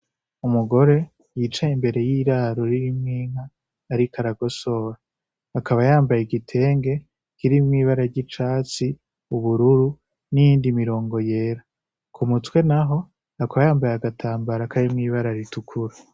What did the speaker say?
Umugore yicaye imbere y'iraro ririmwo inka ariko aragosora. Akaba yambaye igitenge kirimwo ibara ry'icatsi, ubururu n'iyindi mirongo yera. Ku mutwe naho akaba yambaye agatambara karimwo ibara ritukura.